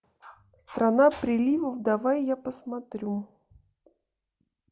страна приливов давай я посмотрю